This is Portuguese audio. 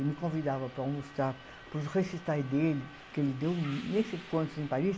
Ele me convidava para almoçar para os recitais dele, que ele deu nem sei quantos em Paris.